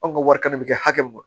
Anw ka wari kana kɛ hakɛ mun ye